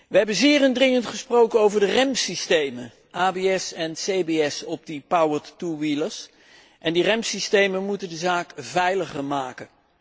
We hebben zeer indringend gesproken over de remsystemen abs en cbs op de powered two wheelers en de remsystemen moeten de zaak veiliger maken.